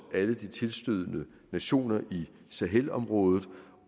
alle de tilstødende nationer i sahelområdet